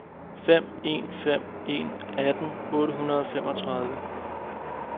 fem en fem en atten otte hundrede og femogtredive